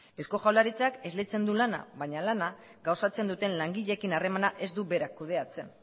eusko jaurlaritzak esleitzen du lana baina lana gauzatzen duten langileekin harremana ez du berak kudeatzen